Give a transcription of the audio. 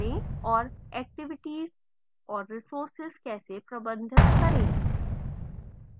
और activities और resources कैसे प्रबंधित करें